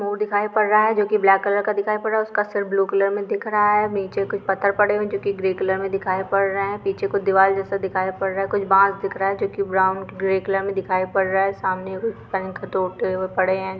मोर दिखाये पड़रहा है जो कि ब्लाक कलर का दिखायी पड़रहा है उसका ब्लू कलर मे दिक रहा है नीचे कुछ पत्तर पडे हुई जु कि ग्रीन कलर दिखायी पड़रहा है पीचे दीवाल जईसे दिखायी पड़रहा है कुछ बंग दिख रहा है ब्राउन ग्रे कलर मे दिखाई पडा रहा है सामने पेंक टैटू पडे है।